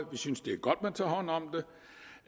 synes det er godt man tager hånd om